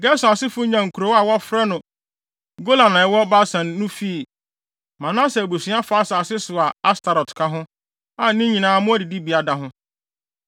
Gerson asefo nyaa kurow a wɔfrɛ no Golan a ɛwɔ Basan no fii Manase abusua fa asase so a Astarot ka ho, a ne nyinaa mmoa adidibea da ho.